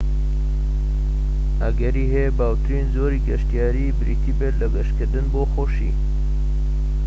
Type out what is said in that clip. ئەگەری هەیە باوترین جۆری گەشتیاری بریتی بێت لە گەشتکردن بۆ خۆشی